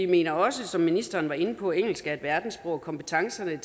vi også som ministeren var inde på at engelsk er et verdenssprog og at kompetencerne